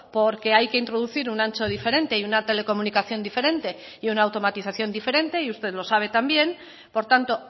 porque hay que introducir un ancho diferente y una telecomunicación diferente y una automatización diferente y usted lo sabe también por tanto